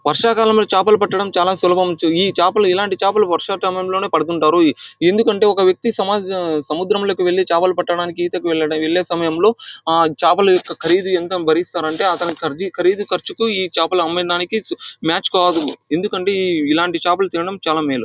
వర్షకాలం లో చేపలు పట్టడం చాలా సులభం. ఈ చేపలు ఇలాంటి చేపలు వరుసల టైం లోనే పడుతుంటారు. ఎందుకంటే ఒక వ్యక్తి సమాజ్ సముద్రం లోకి వెళ్లి చేపల పట్టాడటానికి ఈతకు వెళ్లే సమయంలో ఆ చేపల యొక్క ఖరీదు ఎంత బరిస్తారంటే ఆ అతని ఖరీదు ఖర్చుకు ఈ చేపలు అమ్మిందానికి మ్యాచ్ కాదు. ఎందుకంటే ఇలాంటి చేపలు తినటం చాలా మేలు